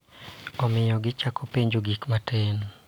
Omiyo, gichako penjo gik matin